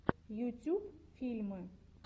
ютюб фильмы